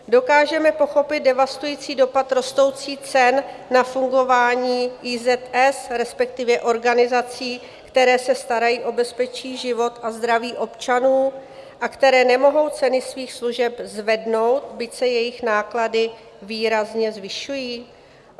Dokážeme pochopit devastující dopad rostoucích cen na fungování IZS, respektive organizací, které se starají o bezpečí, život a zdraví občanů a které nemohou ceny svých služeb zvednout, byť se jejich náklady výrazně zvyšují?